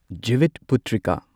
Jivitputrika